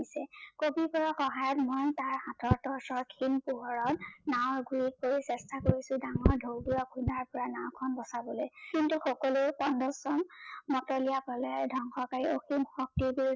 দিছে। কবি বৰাৰ সহায়ত মই তাৰ ওচৰৰ খিন পোহৰত নাও ঘুৰি চেষ্টা কৰিছে ডাঙৰ ঢৌৰ পৰা খুন্দাৰ পৰা নাও খন বচাবলৈ কিন্তু সকলোৱে মতলীয়া পালে ধ্বংসকাৰী অসীম শক্তিৰ